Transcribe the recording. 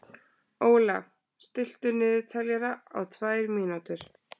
Ólaf, stilltu niðurteljara á tvær mínútur.